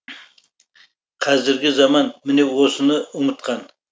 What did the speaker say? қазіргі заман міне осыны ұмытқан